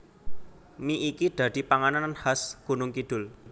Mie iki dadi panganan khas Gunungkidul